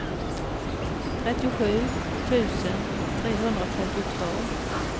trettiosju tusen trehundratrettiotvå